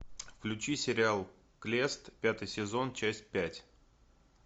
включи сериал клест пятый сезон часть пять